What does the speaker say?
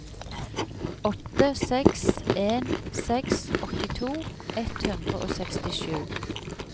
åtte seks en seks åttito ett hundre og sekstisju